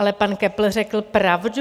Ale pan Köppl řekl pravdu.